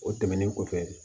O tɛmɛnen kɔfɛ